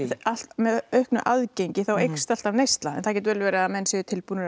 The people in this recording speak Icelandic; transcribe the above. með auknu aðgengi eykst alltaf neysla en það getur vel verið að menn séu tilbúnir